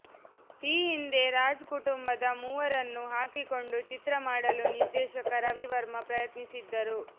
ಈ ಹಿಂದೆ ರಾಜ್ ಕುಟುಂಬದ ಮೂವರನ್ನು ಹಾಕಿಕೊಂಡು ಚಿತ್ರ ಮಾಡಲು ನಿರ್ದೇಶಕ ರವಿ ವರ್ಮ ಪ್ರಯತ್ನಿಸಿದ್ದರು